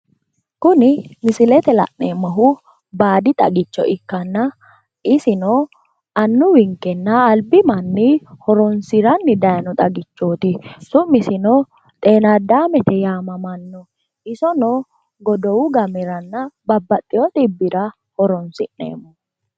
Kuni misilete la'neemmohu baadi xagicho ikkanna, isino annuwinkenna albi manni horonsi'ranni daayino xagichooti, su'misino xenaddamtete yaamammanno, iseno godowu gameranna babbaxxewo xibbira horonsi'neemmo.